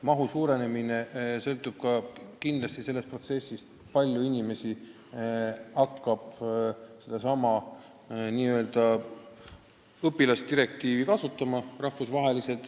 Mahu suurenemine sõltub kindlasti ka sellest, kui palju inimesi hakkab sedasama n-ö õpilasdirektiivi kasutama.